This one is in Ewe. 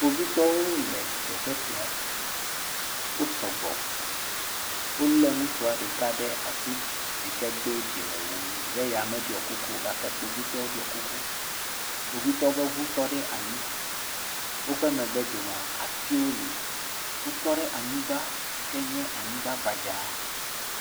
Kpovitɔwo sɔgbɔ ɖe afi sia ale gbegbe eye wonɔ amehawo dzi kpɔm ke boŋ wonɔ amewo ƒe dedienɔnɔ dzi kpɔm le afi sia elabena amewo hã wo sɔ gbɔ ale gbegbe. Ke boŋ teƒea katã la, atiwo hã wole afi sia, ati gãgãgãwo kpakple sueawo siaa le afi sia.